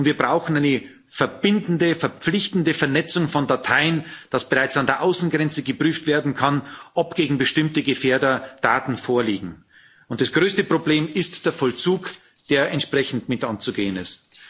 Und wir brauchen eine verbindliche, verpflichtende Vernetzung von Dateien, sodass bereits an der Außengrenze geprüft werden kann, ob gegen bestimmte Gefährder Daten vorliegen. Und das größte Problem ist der Vollzug, der entsprechend mit anzugehen ist.